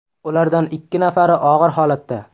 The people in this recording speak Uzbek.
Ulardan ikki nafari og‘ir holatda.